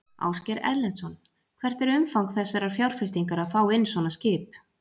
Ásgeir Erlendsson: Hvert er umfang þessarar fjárfestingar að fá inn svona skip?